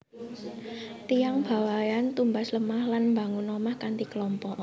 Tiyang Bawean tumbas lemah lan mbangun omah kanthi kelompok